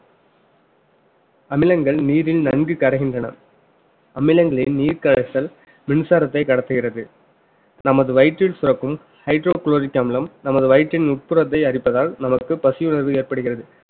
அமிலங்கள் நீரில் நன்கு கரைகின்றன அமிலங்களில் நீர் கரைச்சல் மின்சாரத்தை கடத்துகிறது நமது வயிற்றில் சுரக்கும் hydrochloric அமிலம் நமது வயிற்றின் உட்புறத்தை அரிப்பதால் நமக்கு பசி உணர்வு ஏற்படுகிறது